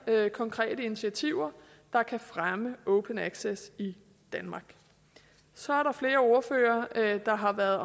konkrete initiativer der kan fremme open access i danmark så er der flere ordførere der har været